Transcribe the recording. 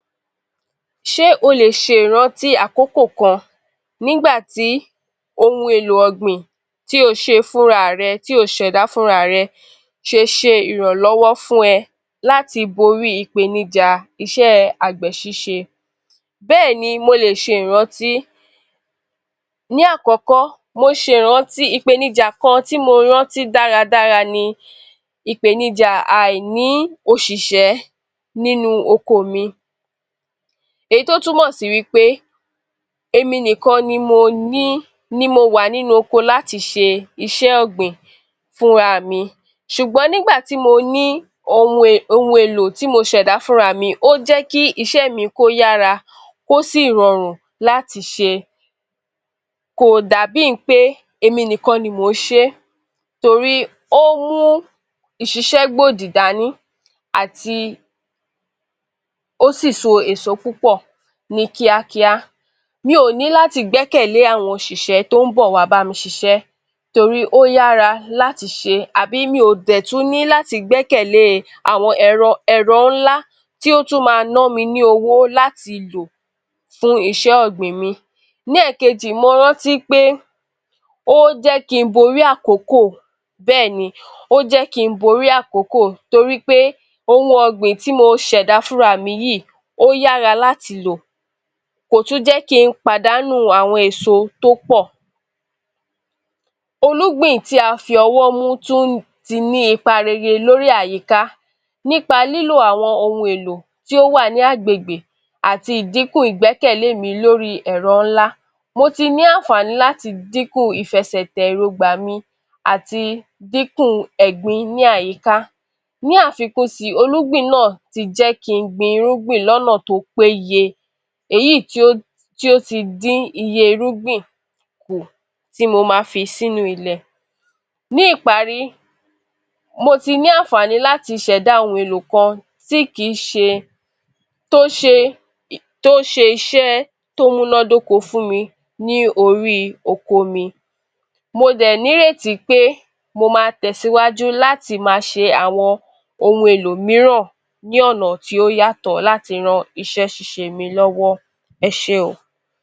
Ṣé o lè ṣe ìrántí àkókò kan nígbà tí ohun èlò ọ̀gbìn tí o ṣe fúnra rẹ… tí o ṣ’ẹ̀dá fúnra rẹ ṣe ṣe ìrànlọ́wọ́ fún ẹ láti borí ìpèníjà iṣẹ́ àgbẹ̀ ṣíṣe? Bẹ́ẹ̀ ni, mo lè ṣe ìrántí. Ní àkọ́kọ́, mo ṣe ìrántí ìpèníjà kan tí mo rántí dára dára ni ìpèníjà àìní òṣìṣẹ́ nínú oko mi. Èyí tó túnmọ̀ sí wí pé èmi nìkan ni mo ni …ni mo wà ní oko láti ṣe iṣẹ́ ọ̀gbìn fúnra mi. Sùgbọ́n nígbà tí mo ní ohun èlò tí mo ṣ’ẹ̀dá fúnra mi, ó jẹ́ kí iṣẹ́ mi kó yára kó sì rọrùn láti ṣe. Kò dàbí í pé èmi nìkan ni mo ń ṣe torí ó mú ìṣiṣẹ́gbòdì dání àti ó sì so èso púpọ̀ ní kíá-kíá. Mi ò ní láti gbẹ́kẹ̀lé àwọn òṣìṣẹ́ tó ń bọ̀ wá bámi ṣiṣẹ́ torí ó yára láti ṣe abí mi ò dẹ̀ tún ní láti gbẹ́kẹ̀lé àwọn ẹ̀rọ ńlá tó tún màa ná mi ní owó láti lọ̀ fún iṣẹ́ ọ̀gbìn mi. Ní èkejì, mo rántí pé ó jẹ́ kí n borí akókò, bẹ́ẹ̀ni, ó jẹ́ kí n borí àkókò torí pé ohun ọ̀gbìn tí mo ṣ’ẹ̀dá fúnra mi yíì, ó yára láti lò kò tún jẹ́ kí n pàdánù àwọn èso tó pọ̀. Olúgbìn tí a fi ọwọ́ mú tún ní ipa rere lórí àyíká nípa lílò àwọn ohun èlò tí ó wà ní ni agbègbè àti ìdinkù ìgbẹ́kẹ̀lé mi lórí ẹ̀ro ńla, mo ti ní àǹfààní láti dínkù ìfẹsẹ̀tẹ̀ èróńgbà mi àti dínkù ẹ̀gbin ní àyíká. Ní àfikún síi, irúgbìn náà ti jẹ́ kí n gbin irúgbìn l’ọ́nà tó péye, èyí tí ó ti dín irúgbìn kù tí mo ma fi s’ínú ilẹ̀. Ní ìparí, mo ti ní àǹfààní láti ṣ’ẹ̀dá ohun èlò kan tí kìí ṣe tó ṣe iṣẹ́ tó múnádóko fún mi l’órí oko mi. Mo dè n’írètí pé mo ma tẹ̀síwájú láti máa ṣe àwọn ohun èlò mííràn ní ọ̀nà tí ó yàtọ láti ran iṣẹ́ ṣíṣe mi l’ọ́wọ́. Ẹ ṣé o.